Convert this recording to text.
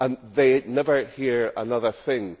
They never hear another thing.